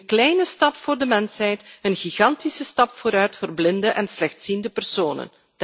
Een kleine stap voor de mensheid, een gigantische stap vooruit voor blinden en slechtziende personen.